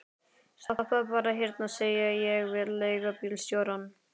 Stoppaðu bara hérna, segi ég við leigubílstjórann.